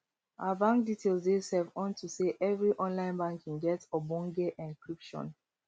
our bank details dey safe unto sey evri online banking get ogbonge encryption